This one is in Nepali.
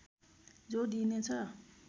जोड दिनेछ